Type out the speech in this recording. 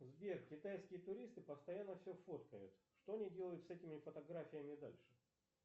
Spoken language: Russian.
сбер китайские туристы постоянно все фоткают что они делают с этими фотографиями дальше